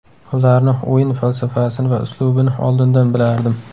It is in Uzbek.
Ularni o‘yin falsafasini va uslubini oldindan bilardim.